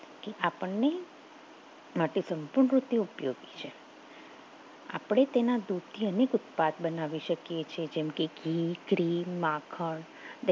કે આપણને માટે સંતો થી ઉપયોગી છે આપણે તેના દૂધથી ઉદપાદ બનાવી શકીએ જે જેમ કે ઘી, ક્રીમ, માખણ